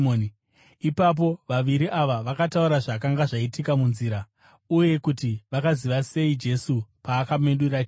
Ipapo vaviri ava vakataura zvakanga zvaitika munzira, uye kuti vakaziva sei Jesu paakamedura chingwa.